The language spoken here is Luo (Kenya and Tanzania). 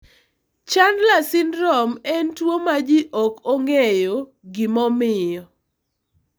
Chandler syndrome en tuwo ma ji ok ong'eyo gimomiyo.